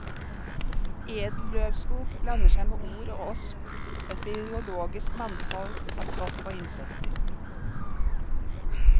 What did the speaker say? Edelløvskog blander seg med or og osp og et biologisk mangfold av sopp og insekter.